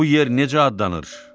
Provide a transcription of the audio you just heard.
Bu yer necə adlanır?